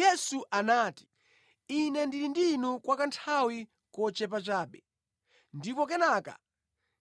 Yesu anati, “Ine ndili ndi inu kwa kanthawi kochepa chabe, ndipo kenaka